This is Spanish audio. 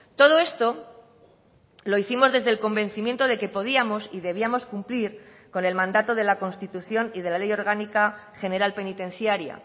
todo esto lo hicimos desde el convencimiento de que podíamos y debíamos cumplir con el mandato de la constitución y de la ley orgánica general penitenciaria